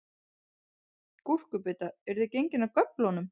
Gúrkubita, eruð þið gengin af göflunum?